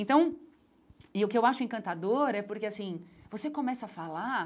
Então... E o que eu acho encantador é porque, assim, você começa a falar